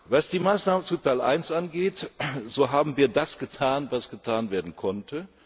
Was die Maßnahmen zu Teil I angeht, so haben wir das getan, was getan werden konnte.